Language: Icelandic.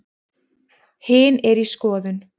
Hin er í skoðun.